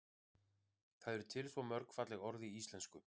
það eru til svo mörg falleg orð í íslenksu